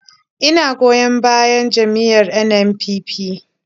Ina goyon bayan jam’iyyar NNPP.